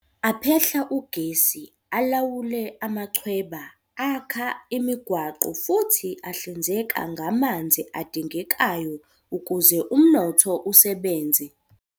Aphehla ugesi, alawule amachweba, akha imigwaqo futhi ahlinzeka ngamanzi adingekayo ukuze umnotho usebenze.